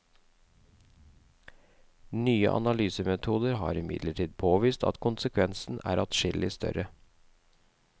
Nye analysemetoder har imidlertid påvist at konsekvensene er adskillig større.